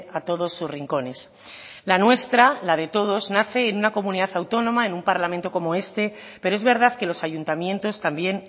a todos sus rincones la nuestra la de todos nace en una comunidad autónoma en un parlamento como este pero es verdad que los ayuntamientos también